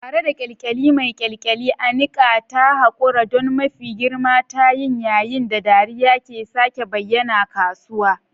Tare da kyalkyali mai kyalkyali, Anika ta haƙura don mafi girman tayin yayin da dariya ke sake bayyana kasuwa.